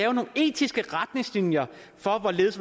etiske retningslinjer for hvorledes